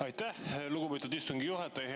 Aitäh, lugupeetud istungi juhataja!